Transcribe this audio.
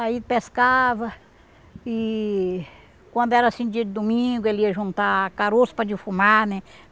Aí pescava e quando era assim dia de domingo ele ia juntar caroço para defumar, né?